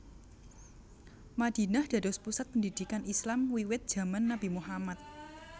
Madinah dados pusat pendidikan Islam wiwit jaman Nabi Muhammad